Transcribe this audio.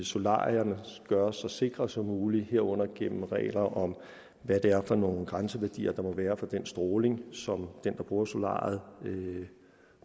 solarierne gøres så sikre som muligt herunder gennem regler om hvad det er for nogle grænseværdier der må være for den stråling som den der bruger solariet